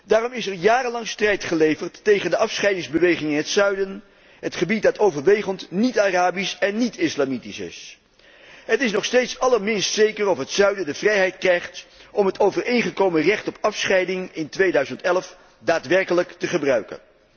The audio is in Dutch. Daarom is er jarenlang strijd geleverd tegen de afscheidingsbeweging in het zuiden, het gebied dat overwegend niet Arabisch en niet islamitisch is. Het is nog steeds allerminst zeker of het zuiden de vrijheid krijgt om het overeengekomen recht op afscheiding in 2011 daadwerkelijk te gebruiken.